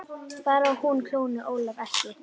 Bara hún klóni Ólaf ekki.